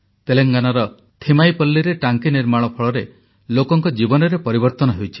ତେଲଙ୍ଗାନାର ଥିମାଇପଲ୍ଲୀରେ ଟାଙ୍କି ନିର୍ମାଣ ଫଳରେ ଲୋକଙ୍କ ଜୀବନରେ ପରିବର୍ତନ ହୋଇଛି